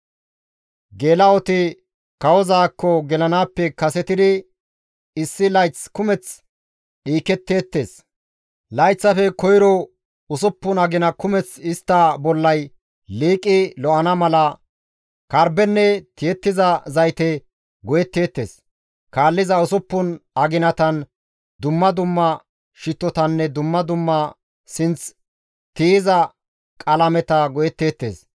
Geela7oti kawozaakko gelanaappe kasetidi issi layth kumeth dhiiketteettes; layththafe koyro usuppun agina kumeth istta bollay liiqi lo7ana mala karbbenne tiyettiza zayte go7etteettes; kaalliza usuppun aginatan dumma dumma shittotanne dumma dumma sinth tiyiza qalameta go7etteettes.